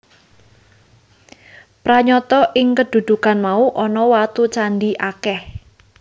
Pranyata ing kedhukan mau ana watu candhi akèh